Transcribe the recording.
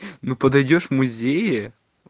ну подойдёшь в музее